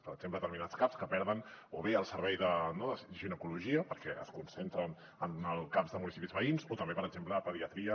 per exemple determinats caps que perden o bé el servei de ginecologia perquè es concentren en els caps de municipis veïns o també per exemple pediatria